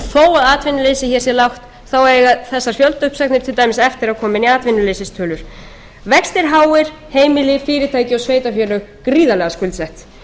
til fjöldauppsagna og þó að atvinnuleysið hér eiga þessar fjöldauppsagnir til dæmis eftir að koma inn í atvinnuleysistölur vextir háir heimili fyrirtæki og sveitarfélög gríðarlega skuldsett